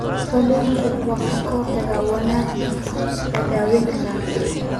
Faaligu waa ka hortag waana la daweyn karaa.